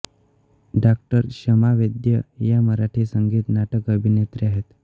डॉ क्षमा वैद्य या मराठी संगीत नाटक अभिनेत्री आहेत